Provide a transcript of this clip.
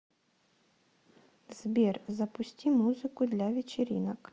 сбер запусти музыку для вечеринок